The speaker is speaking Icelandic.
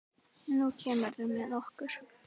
Nú kemurðu með okkur